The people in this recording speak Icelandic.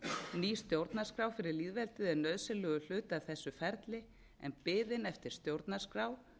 ný stjórnarskrá fyrri lýðveldið er nauðsynlegur hluti af þessu ferli en biðin eftir stjórnarskrá